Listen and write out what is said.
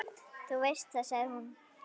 Þú veist það, sagði hún.